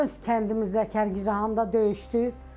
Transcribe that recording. Öz kəndimizdə Kərkicahanda döyüşdü.